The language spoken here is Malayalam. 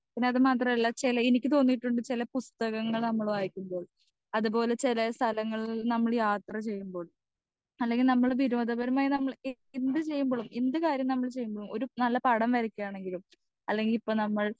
സ്പീക്കർ 2 പിന്നെ അത് മാത്രല്ല ചെല എനിക്ക് തോന്നിയിട്ടുണ്ട് ചെലപുസ്തകങ്ങൾ നമ്മൾ വായിക്കുമ്പോൾ അത്പോലെ ചെല സ്ഥലങ്ങളിൽ നിന്ന് നമ്മൾ യാത്ര ചെയുമ്പോൾ അല്ലെങ്കിൽ നമ്മൾ വിരോധപരമായി നമമൾ എ എന്ത് ചെയ്യുമ്പളും എന്ത് കാര്യം നമ്മൾ ചെയ്യുമ്പളും ഒരു നല്ല പടം വരക്കാണെങ്കിലും അല്ലെങ്കി ഇപ്പൊ നമ്മൾ